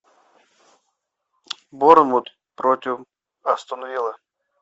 борнмут против астон вилла